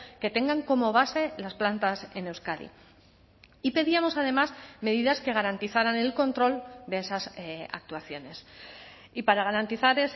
que tengan como base las plantas en euskadi y pedíamos además medidas que garantizaran el control de esas actuaciones y para garantizar